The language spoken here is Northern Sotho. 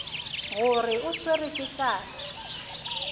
gore o swerwe ke tlala